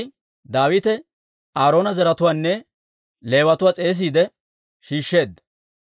K'ay Daawite Aaroona zaratuwaanne Leewatuwaa s'eesiide shiishsheedda.